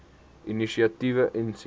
inisiatiewe insien